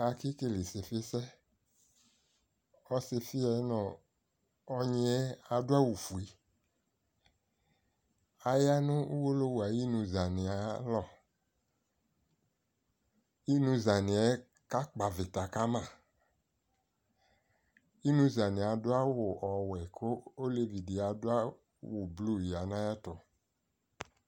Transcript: Ake kele ɩsɩfɩsɛ, ɔsɩfɩɛ nʋ ɔnyɩɛ adʋ awʋfue Aya nʋ uwolowu ayinuzanɩɛ ayalɔ, inuzanɩɛ kakpɔ avɩta kama Inuzanɩɛ adʋ awu ɔwɛ kʋ olevidɩ adʋ awʋblu ya n'ayɛtʋ